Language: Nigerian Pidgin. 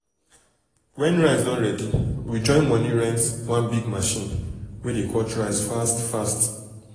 when um rice don ready we join money rent one big machine um wey dey cut rice fast fast.